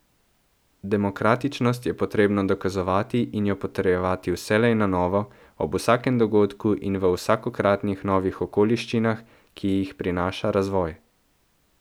Demokratičnost je potrebno dokazovati in jo potrjevati vselej na novo, ob vsakem dogodku in v vsakokratnih novih okoliščinah, ki jih prinaša razvoj.